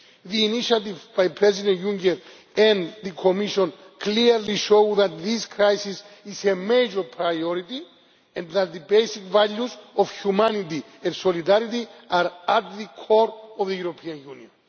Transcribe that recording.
The initiatives by President Juncker and the Commission clearly show that this crisis is a major priority, and that the basic values of humanity and solidarity are at the core of the European